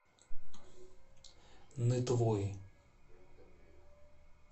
нытвой